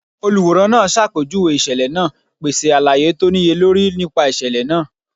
Oluranran naa ṣapejuwe iṣẹlẹ naa, pese alaye to niyelori nipa iṣẹlẹ naa.